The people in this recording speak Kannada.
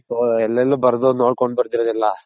ಓ ಅಲ್ಲಲ್ಲಿ ಬರ್ದು ನೋಡ್ಕೊನ್ ಬರ್ದಿರೋದೆಲ್ಲ